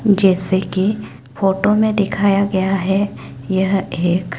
जैसे की फोटो में दिखाया गया है यह एक--